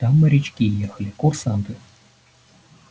там морячки ехали курсанты